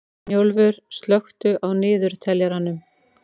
Snjólfur, slökktu á niðurteljaranum.